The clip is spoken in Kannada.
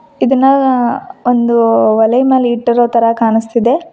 ಇದನ್ನ ಒಂದು ಒಲೆಯ ಮೇಲೆ ಇಟ್ಟಿರೋ ತರ ಕಾಣಿಸ್ತಿದೆ.